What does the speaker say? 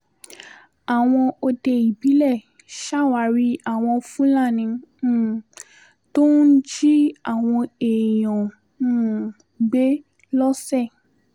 àwọn òde ìbílẹ̀ ṣàwárí àwọn fúlàní um tó ń jí àwọn èèyàn um gbé lọ́sẹ̀